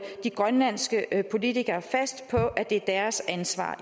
de grønlandske politikere fast på at det er deres ansvar